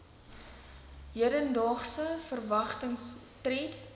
hedendaagse verwagtings tred